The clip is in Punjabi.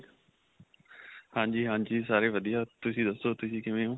ਹਾਂਜੀ, ਹਾਂਜੀ. ਸਾਰੇ ਵਧੀਆ. ਤੁਸੀਂ ਦੱਸੋ ਤੁਸੀਂ ਕਿਵੇਂ ਓ?